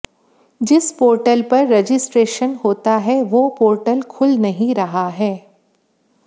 जिस पोर्टल पर रजिस्ट्रेशन होता है वो पोर्टल खुल नहीं रहा है